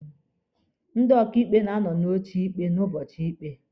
Ndị ọkaịkpe na-anọ n'oche ikpe n'ụbọchị ikpe.